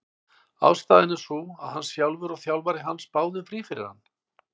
Ástæðan er sú að hann sjálfur og þjálfari hans báðu um frí fyrir hann.